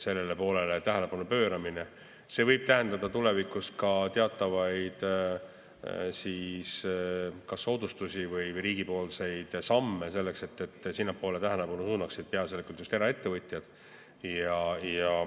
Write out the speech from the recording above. Sellele tähelepanu pööramine võib tähendada tulevikus ka teatavaid soodustusi või riigi samme selleks, et oma tähelepanu suunaksid sinnapoole peaasjalikult just eraettevõtjad.